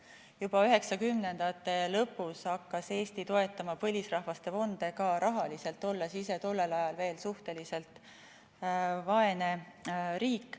Juba 1990-ndate lõpus hakkas Eesti toetama põlisrahvaste fonde ka rahaliselt, olles ise tollel ajal veel suhteliselt vaene riik.